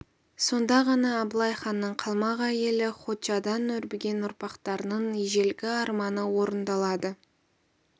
сонда ғана абылай ханның қалмақ әйелі хочадан өрбіген ұрпақтарының ежелгі арманы орындалады